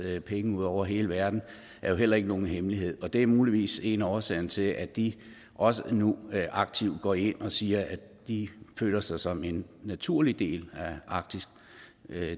penge ud over hele verden er jo heller ikke nogen hemmelighed og det er muligvis en af årsagerne til at de også nu aktivt går ind og siger at de føler sig som en naturlig del af arktis